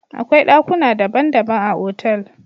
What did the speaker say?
Akwai dakuna dabban dabban a otal.